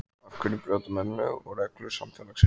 Af hverja brjóta menn lög og reglur samfélagsins?